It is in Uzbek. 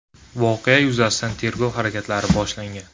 Voqea yuzasidan tergov harakatlari boshlangan.